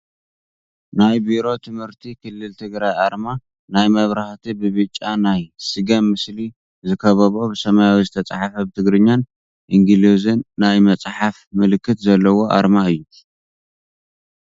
ናይ ቢሮ ትምህርቲ ክልል ትግራይ ኣርማ ናይ መብራህቲ ብቢጫ ናይ ስገም ምስሊ ዝከበቦ ብሰማያዊ ዝተፃሓፈ ብትግርኛን ኢንግሎዝን ናይ መፅሓፍ ምልክት ዘለዋ ኣርማ እያ ።